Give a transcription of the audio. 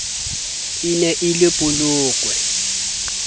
e ne e le polokwe